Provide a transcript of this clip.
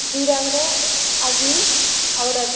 दूय राकरे आदमी औरत --